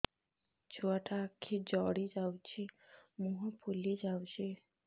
ଛୁଆଟା ଆଖି ଜଡ଼ି ଯାଉଛି ମୁହଁ ଫୁଲି ଯାଉଛି